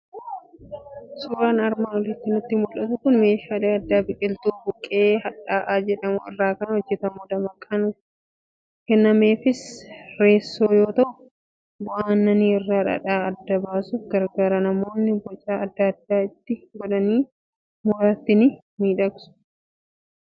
Suuraan armaan oliitti nutti mul'atu meeshaa aadaa biqiltuu buqqee hadhaa'aa jedhamu irraa kan hojjetamudha. Maqaan kennameefis reessoo yoo ta'u, bu'aa aannanii irraa dhadhaa adda baasuuf gargaara. Namoonnis boca adda addaa itti godhanii dhumarratti ni miidhagsu.